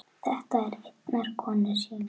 Þetta er einnar konu sýning.